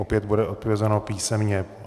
Opět bude odpovězeno písemně.